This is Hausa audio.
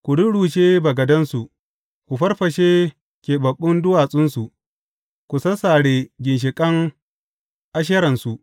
Ku rurrushe bagadansu, ku farfashe keɓaɓɓun duwatsunsu, ku sassare ginshiƙan Asheransu.